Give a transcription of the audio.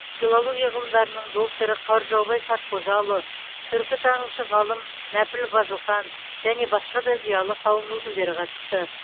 филология ғылымдарының докторы қаржаубай сартқожаұлы түркітанушы ғалым нәпіл базылхан және басқа да зиялы қауым өкілдері қатысты